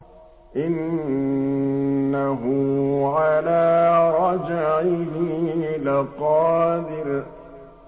إِنَّهُ عَلَىٰ رَجْعِهِ لَقَادِرٌ